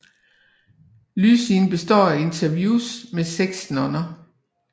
Lydsiden består af interviews med seks nonner